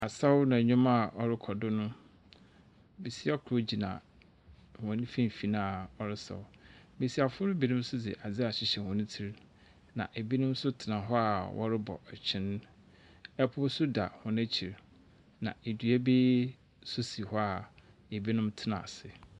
Asaw na nwom a ɔrekɔ do no, besia kor gyina wɔnfifini a ɔresaw. Mesiafo binom de ade ahyihyɛ wɔn ti na ebinom nso tena hɔ a wɔrebɔ ɛkyin. Ɛpo nso da wɔn ekyir na edua bi so si hɔ a ebinom tena ase.